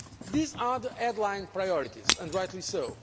These are the headline priorities and rightly